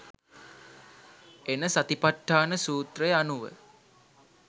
එන සතිඵට්ඨාන සූත්‍රය අනුව